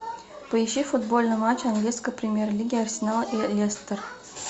поищи футбольный матч английской премьер лиги арсенал и лестер